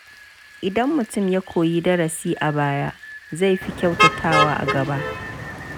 Idan mutum ya koyi darasi a baya, zai fi kyautatawa a gaba.